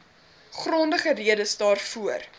grondige redes daarvoor